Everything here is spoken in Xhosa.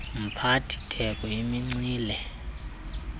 mphathi theko imincili